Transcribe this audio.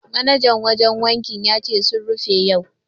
Manajan wajen wankin ya ce sun rufe yau.